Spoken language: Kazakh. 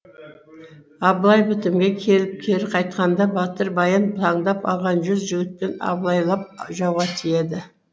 абылай бітімге келіп кері қайтқанда батыр баян таңдап алған жүз жігітпен абылайлап жауға тиеді